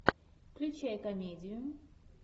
включай комедию